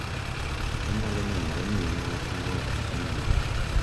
Onyalo nenore ni en wach ma ok ong’ere